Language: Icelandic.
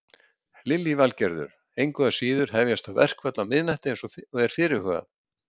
Lillý Valgerður: Engu að síður hefjast þá verkföll á miðnætti eins og er fyrirhugað?